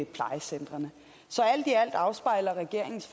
plejecentrene så alt i alt afspejler regeringens